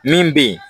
Min bɛ yen